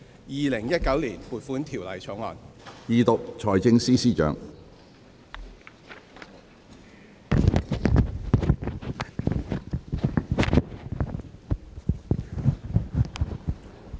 《2019年撥款條例草案》。